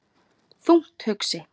Þungt hugsi?